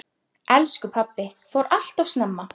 Elsku pabbi fór alltof snemma.